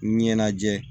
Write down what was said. Ɲɛnajɛ